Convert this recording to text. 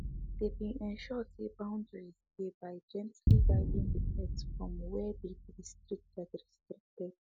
they been ensure say boundaries dey by gently guiding the pet from wey dey restricted restricted